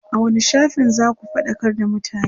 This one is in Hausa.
a wani shafin zaku faɗakar da mutane?